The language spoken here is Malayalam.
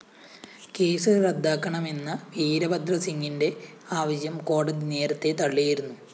കേസ് റദ്ദാക്കണമെന്ന വീരഭദ്രസിങ്ങിന്റെ ആവശ്യം കോടതി നേരത്തെ തള്ളിയിരുന്നു